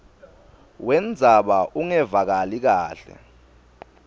wendzaba ungevakali kahle